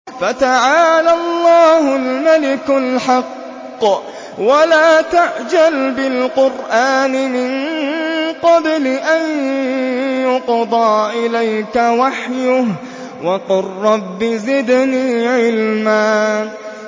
فَتَعَالَى اللَّهُ الْمَلِكُ الْحَقُّ ۗ وَلَا تَعْجَلْ بِالْقُرْآنِ مِن قَبْلِ أَن يُقْضَىٰ إِلَيْكَ وَحْيُهُ ۖ وَقُل رَّبِّ زِدْنِي عِلْمًا